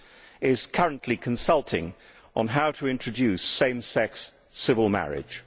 It is also currently consulting on how to introduce same sex civil marriage.